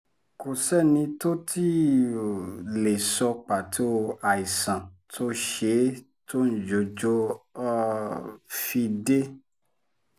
kò sẹ́ni tó tí um ì lè sọ pàtó àìsàn tó ṣe é tóńjọ́jọ um fi dé